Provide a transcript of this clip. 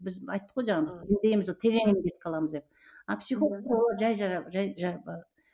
біз айттық қой жаңағы біз терең кетіп қаламыз деп а психолог